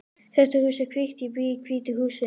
Þetta hús er hvítt. Ég bý í hvítu húsi.